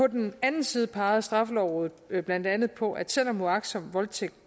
den anden side pegede straffelovrådet blandt andet på at selv om uagtsom voldtægt